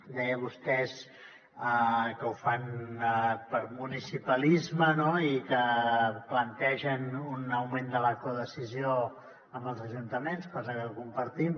deia vostè que ho fan per municipalisme no i que plantegen un augment de la codecisió amb els ajuntaments cosa que compartim